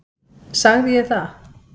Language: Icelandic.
Sagði ég það?